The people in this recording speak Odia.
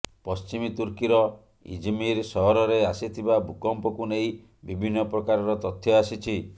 ପଶ୍ଚିମି ତୁର୍କୀର ଇଜମିର ସହରରେ ଆସିଥିବା ଭୂକମ୍ପକୁ ନେଇ ବିଭିନ୍ନ ପ୍ରକାରର ତଥ୍ୟ ଆସିଛି